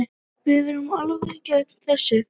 Við erum alfarið gegn þessu.